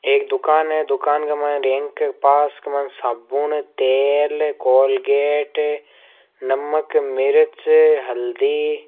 एक दुकान है दुकान के मायने पास क मायने साबुन तेल कोलगेट नमक मिर्च हल्दी --